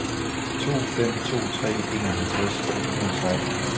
to fem to tre enoghalvtreds et hundrede og seksten